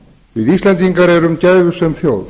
við íslendingar erum gæfusöm þjóð